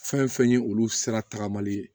Fɛn fɛn ye olu sira tagamali ye